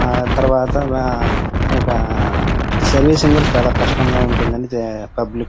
ఆ తర్వాత ఒక సర్వీసింగ్ కూడా చాలా కష్టం గా ఉంటుంది పబ్లిక్ --